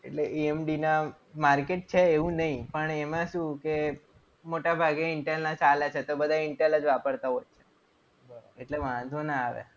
એટલે EMD ના market છે એવું નહીં. પણ એમાં શું કે મોટાભાગે intel ના ચાલે છે તો બધા intel જ વાપરતા હોય એટલે વાંધો ના આવે.